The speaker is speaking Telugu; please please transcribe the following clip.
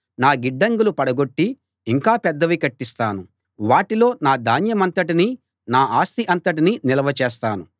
నా గిడ్డంగులు పడగొట్టి ఇంకా పెద్దవి కట్టిస్తాను వాటిలో నా ధాన్యమంతటినీ నా ఆస్తి అంతటినీ నిల్వ చేస్తాను